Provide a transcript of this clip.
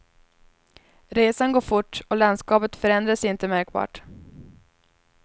Resan går fort och landskapet förändrar sig inte märkbart.